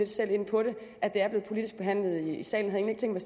selv ind på at det er blevet politisk behandlet i salen